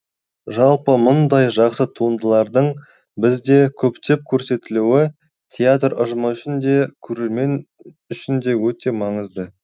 жалпы мұндай жақсы туындылардың бізде көптеп көрсетілуі театр ұжымы үшін де көрермен үшін де өте маңызды